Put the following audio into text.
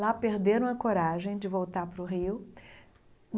Lá perderam a coragem de voltar para o Rio.